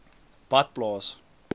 badplaas